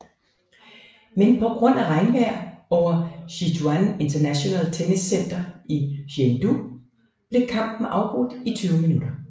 Men på grund af regnvejr over Sichuan International Tennis Center i Chengdu blev kampen afbrudt i 20 minutter